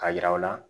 Ka yira u la